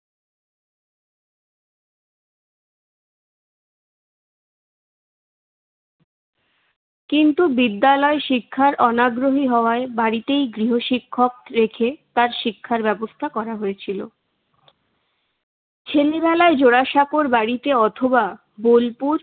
কিন্তু বিদ্যালয় শিক্ষায় অনাগ্রহী হওয়ায় বাড়িতেই গৃহশিক্ষক রেখে তার শিক্ষার ব্যবস্থা করা হয়েছিল। সে নিরালায় জোড়াসাঁকোর বাড়িতে অথবা বোলপুর